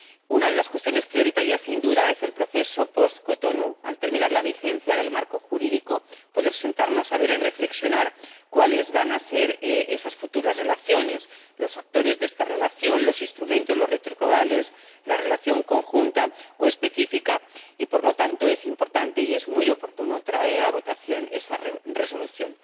Una de las cuestiones prioritarias, sin duda, es el proceso pos Cotonú al terminar la vigencia del marco jurídico poder sentarnos a ver y reflexionar sobre cuáles van a ser esas futuras relaciones, los actores de esta relación, los instrumentos, los retos globales, la relación conjunta o específica y, por lo tanto, es importante y es muy oportuno someter a votación esta Resolución.